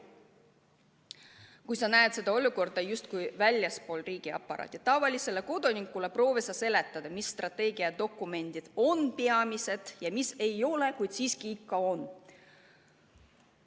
Kui püüda seda olukorda vaadata justkui väljastpoolt riigiaparaati, siis proovi sa tavalisele kodanikule seletada, millised strateegiadokumendid on peamised ja millised ei ole, kuid samas ikkagi on.